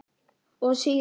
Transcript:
Og síðar.